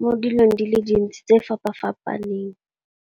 mo dilong di le dintsi tse fapa-fapaneng.